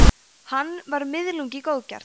hann var „miðlungi góðgjarn